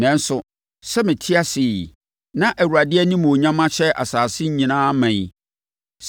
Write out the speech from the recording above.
Nanso, sɛ mete ase yi, na Awurade animuonyam ahyɛ asase nyinaa ma yi,